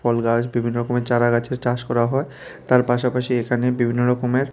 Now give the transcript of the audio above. ফুলগাছ বিভিন্ন রকমের চারাগাছের চাষ করা হয় তার পাশাপাশি এখানে বিভিন্ন রকমের--